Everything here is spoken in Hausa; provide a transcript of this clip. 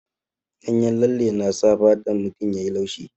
Ganyen lalle na sa fatan mutum ya yi laushi.